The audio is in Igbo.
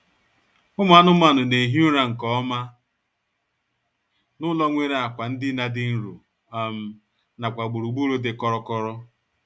Ụmụ anụmanụ na-ehi ụra nkeọma n'ụlọ nwere akwa ndina dị nro um nakwa gburugburu dị kọrọ kọrọ